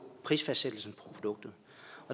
prisfastsættelsen af produktet